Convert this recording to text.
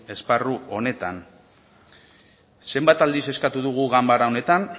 esparru honetan zenbat aldiz eskatu dugu ganbara honetan